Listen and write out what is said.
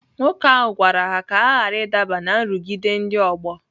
Nwoke ahụ gwara ha ka ha ghara ịdaba ná nrụgide ndị ọgbọ.